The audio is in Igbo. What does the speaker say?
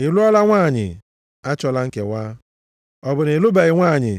Ị lụọla nwanyị? Achọla nkewa. Ọ bụ na ị lụbeghị nwanyị?